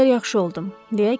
Bir qədər yaxşı oldum,